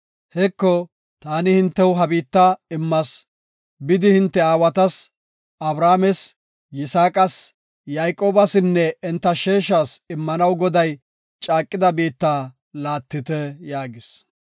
Heko, taani hintew ha biitta immas. Bidi hinte aawatas, Abrahaames, Yisaaqas, Yayqoobasinne enta sheeshas immanaw Goday caaqida biitta laattite” yaagis.